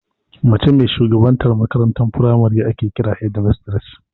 Mace mai shugabantar makarantar firamare ake kira "Headmistress"